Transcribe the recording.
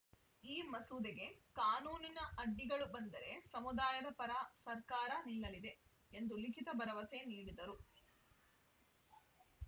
ಈ ಮಸೂದೆಗೆ ಕಾನೂನಿನ ಅಡ್ಡಿಗಳು ಬಂದರೆ ಸಮುದಾಯದ ಪರ ಸರ್ಕಾರ ನಿಲ್ಲಲಿದೆ ಎಂದು ಲಿಖಿತ ಭರವಸೆ ನೀಡಿದರು